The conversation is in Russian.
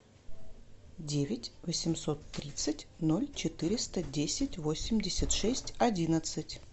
девять восемьсот тридцать ноль четыреста десять восемьдесят шесть одиннадцать